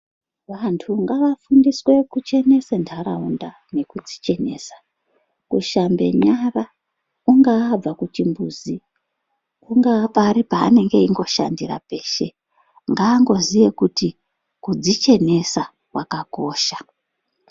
Vantu ngavafundiswe kuchenesa ntaraunda nekudzichenesa kushambe kungaabva kuchimbuzi, kungaa pari peanenge eingoshandira peshe, ngaangoziya kuti kudzichenesa kwakakosha.